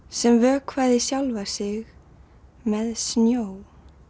sem vökvaði sjálfa sig með snjó